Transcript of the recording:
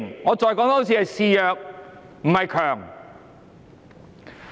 我再說一次，是示弱，不是強。